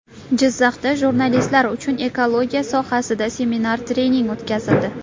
Jizzaxda jurnalistlar uchun ekologiya sohasida seminar-trening o‘tkazildi.